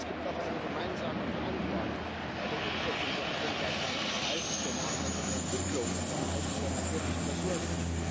Es gibt auch eine gemeinsame Verantwortung bei der Umsetzung der Agenda 2030 für nachhaltige Entwicklung und der Erhaltung der natürlichen Ressourcen.